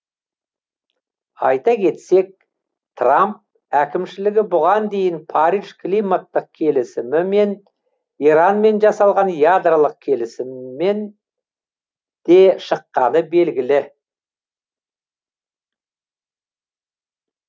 айта кетсек трамп әкімшілігі бұған дейін париж климаттық келісімі мен иранмен жасалған ядролық келісімнен де шыққаны белгілі